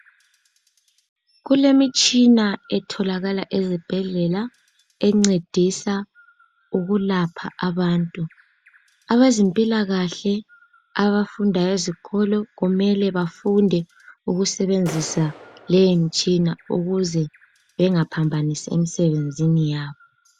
Kulemitshina etholakala ezibhedlela encedisa ukulapha abantu. Abezempilakahle abafundayo ezikolo kumele bafunde ukusebenzisa leyo mitshina ukuze bengaphambanisi emsebenzini yabo.